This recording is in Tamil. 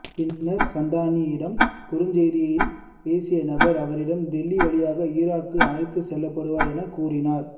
பின்னர் சந்தானியிடம் குறுஞ்செய்தியில் பேசிய நபர் அவரிடம் டெல்லி வழியாக ஈராக்குக்கு அழைத்து செல்லப்படுவாய் என கூறினார்